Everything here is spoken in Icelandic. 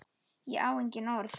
Ég á engin orð.